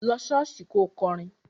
Lọ ṣọ́ọ̀ṣì kò kọrin!